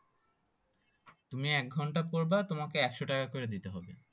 তুমি একঘন্টা করবা তোমাকে একশো করে দিতে হবে